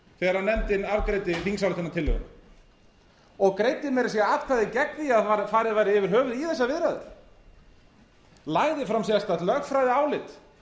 þegar nefndin afgreiddi þingsályktunartillöguna og greiddi meira að segja atkvæði gegn því að farið væri yfir höfuð í þessar viðræður lagði fram sérstakt lögfræðiálit